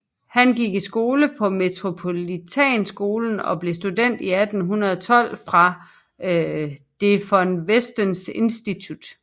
Han gik i skole på Metropolitanskolen og blev student i 1812 fra Det von Westenske Institut